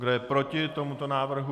Kdo je proti tomuto návrhu?